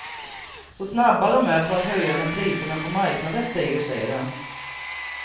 Så snabba dom är på att höja när priserna på marknaden stiger, säger han.